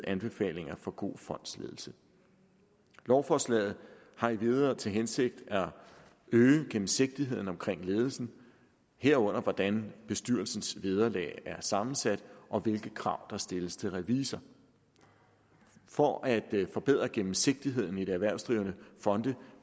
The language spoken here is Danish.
anbefalinger for god fondsledelse lovforslaget har endvidere til hensigt at øge gennemsigtigheden omkring ledelsen herunder hvordan bestyrelsens vederlag er sammensat og hvilke krav der stilles til revisor for at forbedre gennemsigtigheden i de erhvervsdrivende fonde